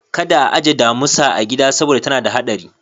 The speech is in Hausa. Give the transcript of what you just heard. Kada a aje damusa a gida saboda tana da hadari.